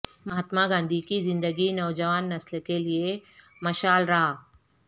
مہاتما گاندھی کی زندگی نوجوان نسل کیلئے مشعل راہ